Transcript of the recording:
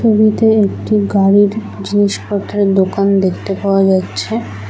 ছবিতে একটি গাড়ির জিনিস পত্রের দোকান দেখতে পাওয়া যাচ্ছে।